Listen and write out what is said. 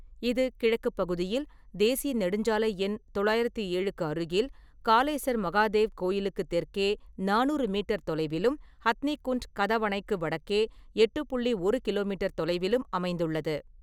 இது கிழக்குப் பகுதியில் தேசிய நெடுஞ்சாலை எண் தொள்ளாயிரத்து ஏழுக்கு அருகில், காலேசர் மகாதேவ் கோயிலுக்கு தெற்கே நானூறு மீட்டர் தொலைவிலும், ஹத்னி குண்ட் கதவணைக்கு வடக்கே எட்டு புள்ளி ஒரு கிலோ மீட்டர் தொலைவிலும் அமைந்துள்ளது.